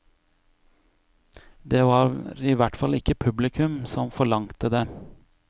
Det var ihvertfall ikke publikum som forlangte det.